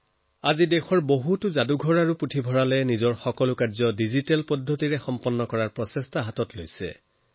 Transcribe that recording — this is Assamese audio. বৰ্তমান দেশত বহু সংগ্ৰহালয় আৰ গ্ৰন্থাগাৰে নিজৰ সংগ্ৰহক সম্পূৰ্ণ ডিজিটাইজেচনৰ কাম কৰিছে